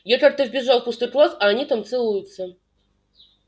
я как-то вбежала в пустой класс а они там целуются